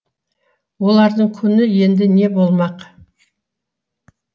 олардың күні енді не болмақ